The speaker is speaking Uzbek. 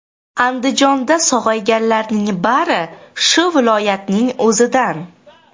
Andijonda sog‘ayganlarning bari shu viloyatning o‘zidan.